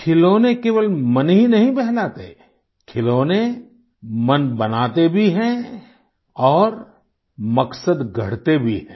खिलौने केवल मन ही नहीं बहलाते खिलौने मन बनाते भी हैं और मकसद गढ़ते भी हैं